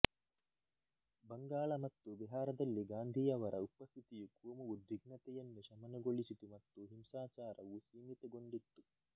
ಬಂಗಾಳ ಮತ್ತು ಬಿಹಾರದಲ್ಲಿ ಗಾಂಧಿಯವರ ಉಪಸ್ಥಿತಿಯು ಕೋಮು ಉದ್ವಿಗ್ನತೆಯನ್ನು ಶಮನಗೊಳಿಸಿತು ಮತ್ತು ಹಿಂಸಾಚಾರವು ಸೀಮಿತಗೊಂಡಿತ್ತು